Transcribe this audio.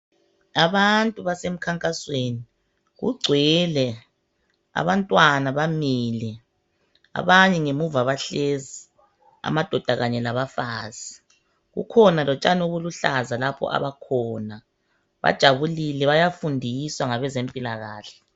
abantu basemkhankasweni kugcwele abantwana bamile abanye ngemuva bahlezi amadoda kanye labafazi kukhona lotshani obuluhlaza lapho abakhona bajabulile bayafundiswa ngabezempilakahle